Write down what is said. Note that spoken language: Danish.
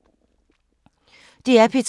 DR P2